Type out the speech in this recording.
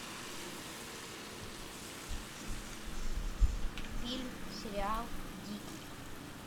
фильм сериал дикий